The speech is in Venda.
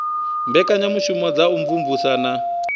mbekanyamushumo dza u imvumvusa na